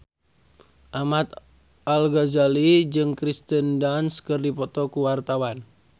Ahmad Al-Ghazali jeung Kirsten Dunst keur dipoto ku wartawan